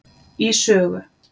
í sögu